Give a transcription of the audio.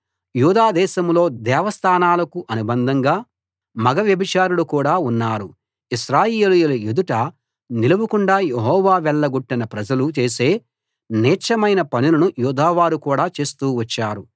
యూదా దేశంలో దేవస్థానాలకు అనుబంధంగా మగ వ్యభిచారులు కూడా ఉన్నారు ఇశ్రాయేలీయుల ఎదుట నిలవకుండా యెహోవా వెళ్లగొట్టిన ప్రజలు చేసే నీచమైన పనులను యూదావారు కూడా చేస్తూ వచ్చారు